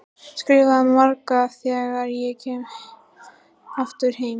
Skrifa meira þegar ég kem aftur heim.